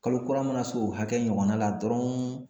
Kalo kura mana se o hakɛ ɲɔgɔnna la dɔrɔn